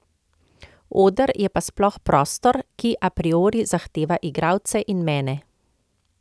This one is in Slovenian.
Oder je pa sploh prostor, ki a priori zahteva igralce in mene.